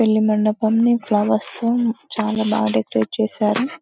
పెళ్లి మండపాన్ని ఫ్లవర్స్ తో చాలా బాగా డెకరేట్ చేశారు .